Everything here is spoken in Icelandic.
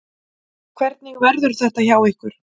Hvernig verður þetta hjá ykkur?